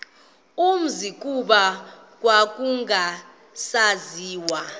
umzi kuba kwakungasaziwa